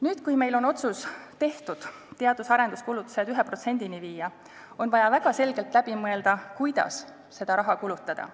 Nüüd, kui meil on tehtud otsus teadus- ja arenduskulutused 1%-ni viia, on vaja väga selgelt läbi mõelda, kuidas seda raha kulutada.